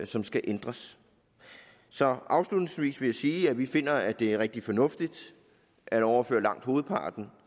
som skal ændres så afslutningsvis vil jeg sige at vi finder det er rigtig fornuftigt at overføre langt hovedparten